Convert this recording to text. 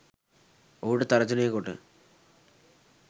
ඔහුට තර්ජනය කොට